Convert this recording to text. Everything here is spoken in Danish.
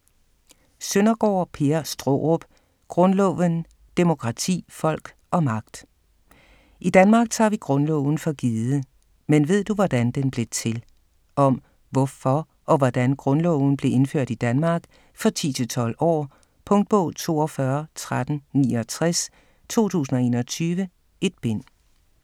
Søndergaard, Per Straarup: Grundloven: demokrati, folk og magt I Danmark tager vi grundloven for givet, men ved du, hvordan den blev til? Om, hvorfor og hvordan grundloven blev indført i Danmark. For 10-12 år. Punktbog 421369 2021. 1 bind.